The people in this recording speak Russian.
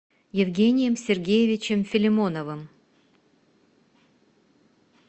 евгением сергеевичем филимоновым